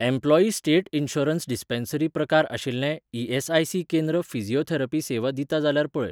Employee State Insurance Dispensary प्रकार आशिल्लें ESIC. केंद्र फिजिओथेरपी सेवा दिता जाल्यार पळय.